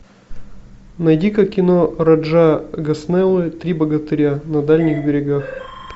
найди ка кино раджа госнелла три богатыря на дальних берегах